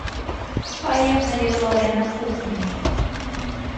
поехали лорена кухни